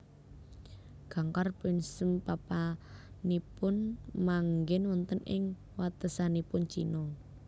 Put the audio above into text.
Gangkhar Puensum papanipunmanggen wonten ing watesanipun China